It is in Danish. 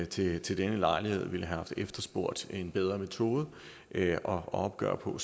til til denne lejlighed ville have efterspurgt en bedre metode at opgøre på